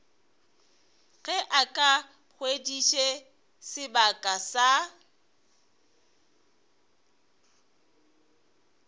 ge a hweditše sebaka sa